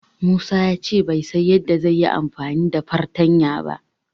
Musa ya ce bai san yadda zai yi amfani da fartanya ba.